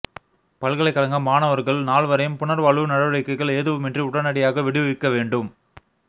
பல்கலைக்கழக மாணவர்கள் நால்வரையும் புனர்வாழ்வு நடவடிக்கைகள் எதுவுமின்றி உடனடியாக விடுவிக்க வேண்டும்